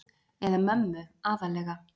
Eða mömmu aðallega.